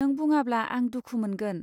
नों बुङाब्ला आं दुखु मोनगोन.